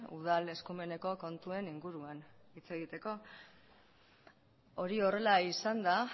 udal eskumeneko kontuen inguruan hitz egiteko hori horrela izanda